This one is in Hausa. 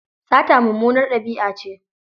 Sata mummunar ɗabi'a ce.